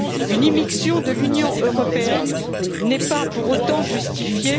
Une immixtion de l'Union européenne n'est pas pour autant justifiée.